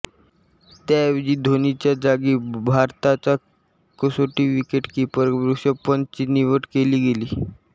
त्याऐवजी धोनीच्या जागी भारताचा कसोटी विकेटकीपर ऋषभ पंतची निवड केली गेली